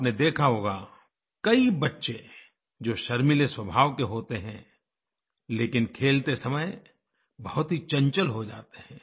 आपने देखा होगा कई बच्चे जो शर्मीले स्वभाव के होते हैं लेकिन खेलते समय बहुत ही चंचल हो जाते हैं